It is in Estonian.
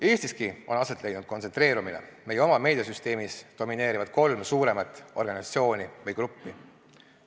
Eestiski on aset leidnud kontsentreerumine, meie oma meediasüsteemis domineerivad kolm suuremat organisatsiooni või gruppi.